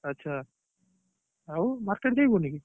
ଆଛା ଆଉ market ଯାଇବୁନି କି